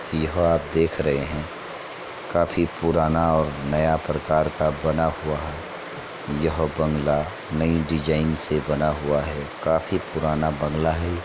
यह आप देख रहे हैं। काफी पुराना और नया प्रकार का बना हुआ है। यह बंगला नई डिज़ाइन से बना हुआ है। काफी पुराना बंगला है --